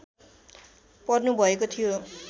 पर्नुभएको थियो